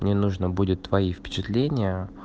мне нужно будет твои впечатления